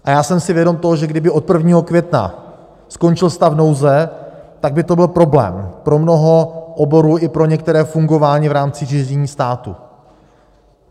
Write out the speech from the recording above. A já jsem si vědom toho, že kdyby od 1. května skončil stav nouze, tak by to byl problém pro mnoho oborů i pro některé fungování v rámci řízení státu.